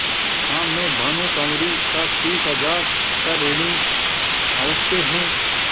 हाँ मैं भानुकुँवरि का तीस हजार का ऋणी अवश्य हूँ